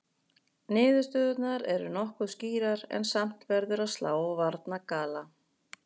Niðurstöðurnar eru nokkuð skýrar en samt verður að slá varnagla.